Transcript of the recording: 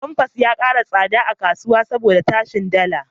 Famfas ya ƙara tsada a kasuwa saboda tashin dala.